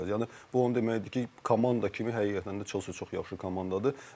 Yəni bu o deməkdir ki, komanda kimi həqiqətən də Chelsea çox yaxşı komandadır.